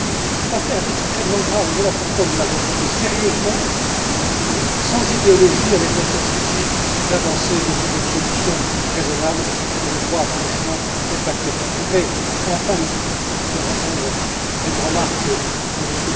Cette affaire est extrêmement grave et voilà pourquoi nous l'avons traitée sérieusement, sans idéologie, avec le seul souci d'avancer et de trouver une solution raisonnable qui, je crois franchement, est acceptable. Je voudrais enfin, Monsieur le Président, répondre à une remarque de M.